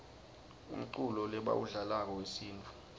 umculo lebawudlalako wesintfu